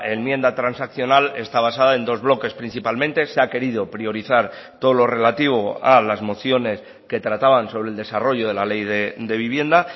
enmienda transaccional está basada en dos bloques principalmente se ha querido priorizar todo lo relativo a las mociones que trataban sobre el desarrollo de la ley de vivienda